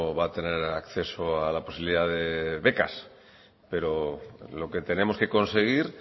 va a tener acceso a la posibilidad de becas pero lo que tenemos que conseguir